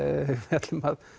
ætlum að